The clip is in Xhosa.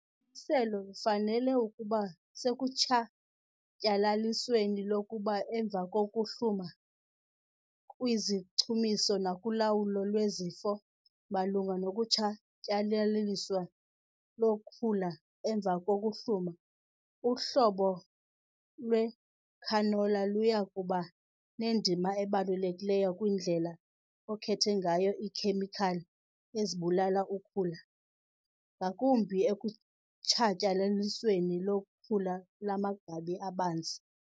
selo lufanele ukuba sekutshatyalalisweni kokhula emva kokuhluma, kwizichumiso nakulawulo lwezifo. Malunga nokutshatyalaliswa kokhula emva kokuhluma, uhlobo lwecanola luya kuba nendima ebalulekileyo kwindlela okhethe ngayo iikhemikhali ezibulala ukhula, ngakumbi ekutshatyalalisweni kokhula lwamagqabi abanzi.